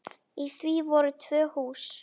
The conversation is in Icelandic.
Í því voru tvö hús.